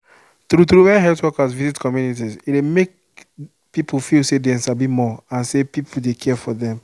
true true when health workers visit communities e dey make people feel say dem sabi more and say people dey care for dem